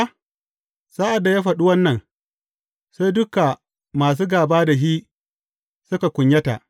Sa’ad da ya faɗi wannan, sai duka masu gāba da shi suka kunyata.